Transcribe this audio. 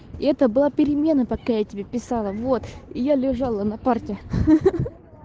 это была перемена пока я тебе писала вот и я лежала на парте ха-ха